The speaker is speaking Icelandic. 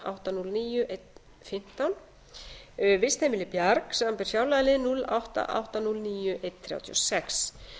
átta hundruð og níu til einn fimmtán vistheimilið bjarg samanber fjárlagalið núll átta til átta hundruð og níu til eina þrjátíu og sex